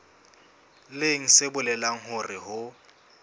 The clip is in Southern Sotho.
leng se bolelang hore ho